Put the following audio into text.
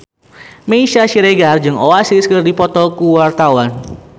Meisya Siregar jeung Oasis keur dipoto ku wartawan